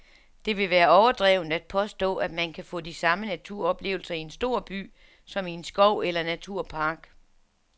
Det vil være overdrevent at påstå, at man kan få de samme naturoplevelser i en stor by som i en skov eller naturpark.